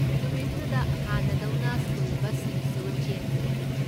ꯅꯨꯃꯤꯠꯇꯨꯗ ꯍꯥꯟꯅꯗꯧꯅ ꯁ꯭ꯀꯨꯜ ꯕꯁꯁꯤꯡꯁꯨ ꯆꯦꯟꯒꯅꯤ꯫